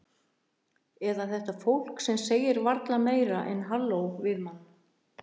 Eða þetta fólk sem segir varla meira en halló við mann.